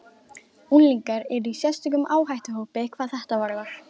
Unglingar eru í sérstökum áhættuhópi hvað þetta varðar.